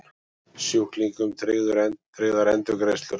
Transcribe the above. Sjúklingum tryggðar endurgreiðslur